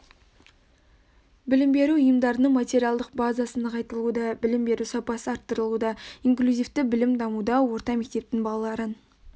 білім беру ұйымдарының материалдық базасы нығайтылуда білім беру сапасы арттырылуда инклюзивті білім дамуда орта мектептің балаларын